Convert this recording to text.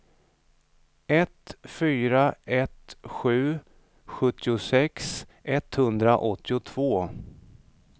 ett fyra ett sju sjuttiosex etthundraåttiotvå